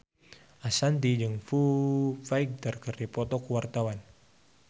Ashanti jeung Foo Fighter keur dipoto ku wartawan